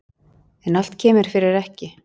En allt kemur fyrir ekki.